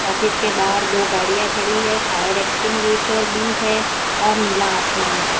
Office के बाहर दो गाड़ियां खड़ी है फायर एक्सटिंग्विशर भी है और नीला आसमान है।